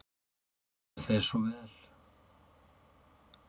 Það fer þér svo vel.